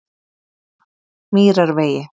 Mýrarvegi